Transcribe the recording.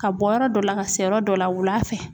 Ka bɔ yɔrɔ dɔ la , ka se yɔrɔ dɔ la wula fɛ.